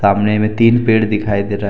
अमने में तीन पेड़ दिखाई दे रहा है।